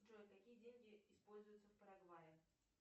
джой какие деньги используются в парагвае